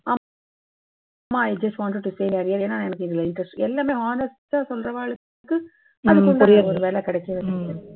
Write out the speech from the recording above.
ஆமா, i just wanted to say earlier ஏன்னா எனக்கு இதுல interest எல்லாமே honest ஆ சொல்றவாளுக்கு உரிய வேலை கிடைக்கும்.